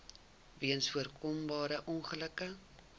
weens voorkombare ongelukke